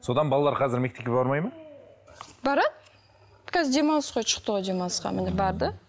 содан балалар қазір мектепке бармайды ма барады қазір демалыс қой шықты ғой демалысқа міне барды